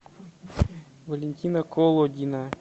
валентина колодина